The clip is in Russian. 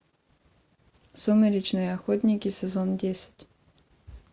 сумеречные охотники сезон десять